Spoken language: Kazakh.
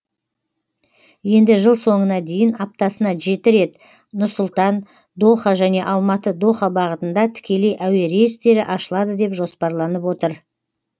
енді жыл соңына дейін аптасына жеті рет нұр сұлтан доха және алматы доха бағытында тікелей әуе рейстері ашылады деп жоспарланып отыр